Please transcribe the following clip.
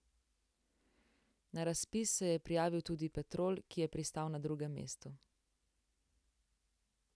Na razpis se je prijavil tudi Petrol, ki je pristal na drugem mestu.